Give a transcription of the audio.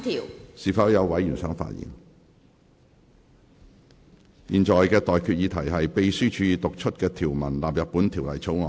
我現在向各位提出的待決議題是：秘書已讀出的條文納入本條例草案。